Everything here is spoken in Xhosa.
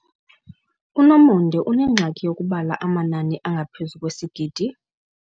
UNomonde unengxaki yokubala amanani angaphezu kwesigidi.